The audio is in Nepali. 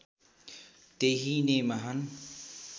त्यही नै महान्